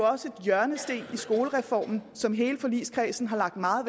også en hjørnesten i skolereformen som hele forligskredsen har lagt meget